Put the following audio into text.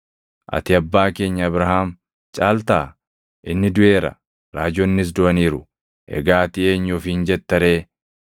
Ati abbaa keenya Abrahaam caaltaa? Inni duʼeera; raajonnis duʼaniiru. Egaa ati eenyu ofiin jetta ree?”